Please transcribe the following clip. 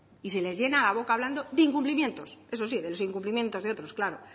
y se les llena la boca hablando de incumplimientos eso sí de los incumplimientos de otros claro